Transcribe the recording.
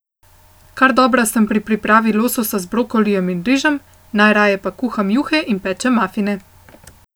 Kar dobra sem pri pripravi lososa z brokolijem in rižem, najraje pa kuham juhe in pečem mafine.